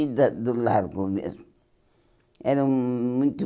no fim da do Largo mesmo. Era hum